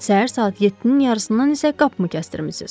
Səhər saat yedinin yarısından isə qapımı kəsdirmişsiniz.